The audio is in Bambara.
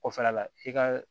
Kɔfɛla la i ka